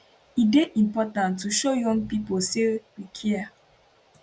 e dey important to show young pipo say we care